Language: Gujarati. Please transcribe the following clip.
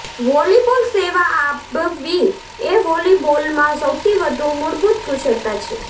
વોલીબોલ સેવા આપવી એ વોલીબોલમાં સૌથી વધુ મૂળભૂત કુશળતા છે